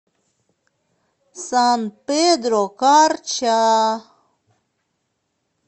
сан педро карча